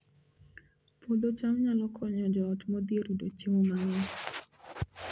Puodho cham nyalo konyo joot modhier yudo chiemo mang'eny